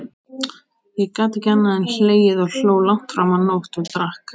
Ég gat ekki annað en hlegið, ég hló langt fram á nótt, og drakk.